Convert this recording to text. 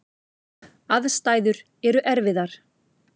Aðstæður eru erfiðar.